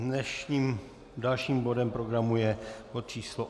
Dnešním dalším bodem programu je bod číslo